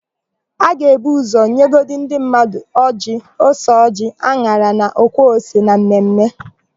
A ga-ebu ụzọ nyegodu ndị mmadụ ọjịị, ose ọjịị, an̄ara na ọkwa ose na mmemme.